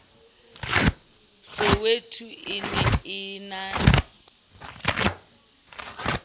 soweto e ne e na